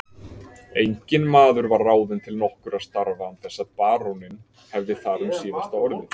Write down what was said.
Enginn maður var ráðinn til nokkurra starfa án þess baróninn hefði þar um síðasta orðið.